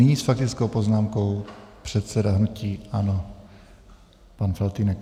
Nyní s faktickou poznámkou předseda hnutí ANO pan Faltýnek.